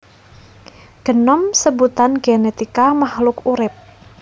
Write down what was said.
Genom sebutan genetika makhluk urip